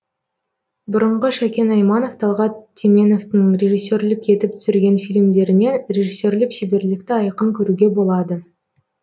бұрынғы шәкен айманов талғат теменовтың режиссерлік етіп түсірген фильмдерінен режиссерлік шеберлікті айқын көруге болады